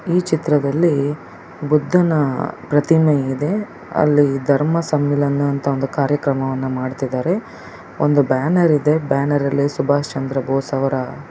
ಈ ಚಿತ್ರದಲ್ಲಿ ಬುದ್ಧನ ಪ್ರತಿಮೆ ಇದೆ ಅಲ್ಲಿ ಧರ್ಮ ಸಮ್ಮೇಳನ ಅಂತ ಒಂದು ಕಾರ್ಯಕ್ರಮವನ್ನು ಮಾಡತ್ತಿದ್ದಾರೆ ಒಂದು ಬ್ಯಾನರ್ ಇದೆ ಬ್ಯಾನರಲ್ಲಿ ಸುಭಾಷ್ ಚಂದ್ರ ಬೋಸ್ ಅವರ .